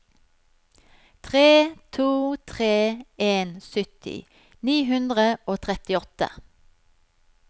tre to tre en sytti ni hundre og trettiåtte